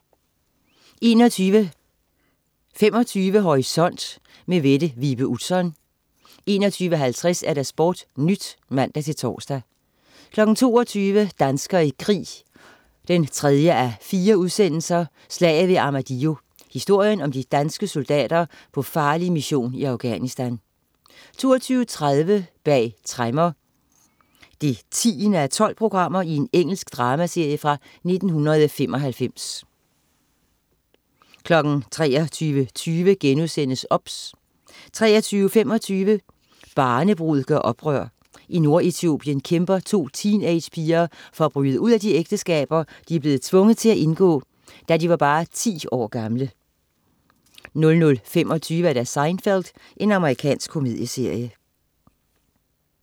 21.25 Horisont. Mette Vibe Utzon 21.50 SportNyt (man-tors) 22.00 Danskere i krig 3:4. Slaget ved Armadillo. Historien om de danske soldater på farlig mission i Afghanistan 22.30 Bag tremmer 10:12. Engelsk dramaserie fra 1995 23.20 OBS* 23.25 Barnebrud gør oprør. I Nord-Etiopien kæmper to teenagepiger for at bryde ud af de ægteskaber, de blev tvunget til at indgå, da de var bare 10 år gamle 00.25 Seinfeld. Amerikansk komedieserie